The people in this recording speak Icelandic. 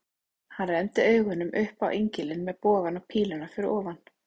Hann renndi augunum upp á engilinn með bogann og píluna fyrir ofan.